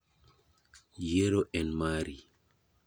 Yiero en mari.